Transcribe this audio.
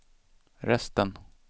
resten